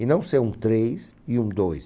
E não ser um três e um dois.